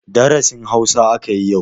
Darasin Hausa aka yi yau.